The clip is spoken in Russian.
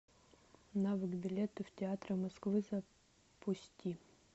навык билеты в театры москвы запусти